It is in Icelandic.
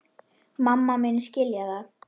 Mamma muni skilja það.